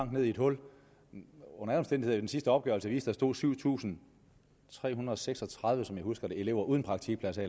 ned i et hul den sidste opgørelse viste at der stod syv tusind tre hundrede og seks og tredive som jeg husker det elever uden praktikpladser